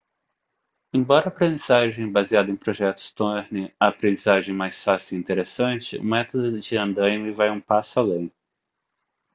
embora a aprendizagem baseada em projetos torne a aprendizagem mais fácil e interessante o método de andaime vai um passo além